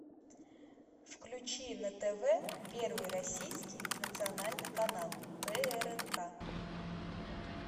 включи на тв первый российский национальный канал прнк